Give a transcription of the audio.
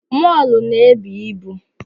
Mọlụ na ebu ibu